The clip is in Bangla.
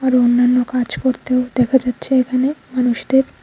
আর অন্যান্য কাজ করতেও দেখা যাচ্ছে এখানে মানুষদের।